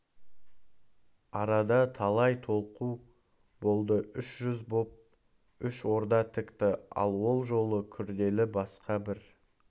арада талай толқу болды үш жүз боп үш орда тікті ал ол жолы күрделі басқа бір